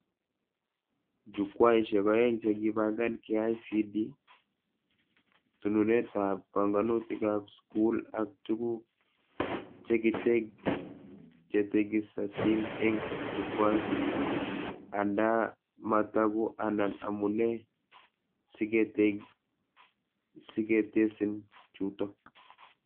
Jukwaishek aeng chekibangan KICD: tununetab banganutikab skuli ak tuguk chetekisatin eng Jukwait, andaa mataku anan amune siketesin chuto